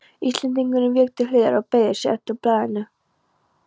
Íslendingurinn vék til hliðar og beygði sig eftir blaðinu.